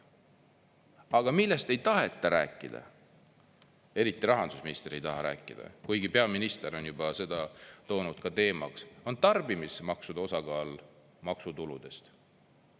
Aga millest ei taheta rääkida, eriti rahandusminister ei taha rääkida, kuigi peaminister on juba seda toonud ka teemaks, on tarbimismaksude osakaal maksutuludes.